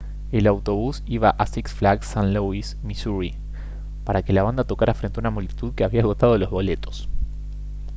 el autobús iba al six flags st louis misuri para que la banda tocara frente a una multitud que había agotado los boletos